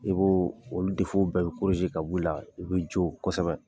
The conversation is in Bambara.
I b'o olu bɛɛ bi ka b'u la, i bi jo kosɛbɛ.